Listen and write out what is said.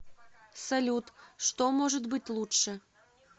салют что может быть лучше